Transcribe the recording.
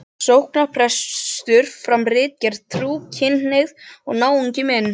sóknarprestur, fram ritgerð, Trú, kynhneigð og náungi minn.